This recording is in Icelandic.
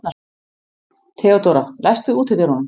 Theodóra, læstu útidyrunum.